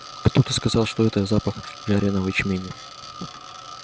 кто-то сказал что это запах жареного ячменя